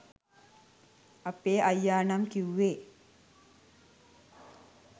අපේ අයියා නම් කිව්වේ.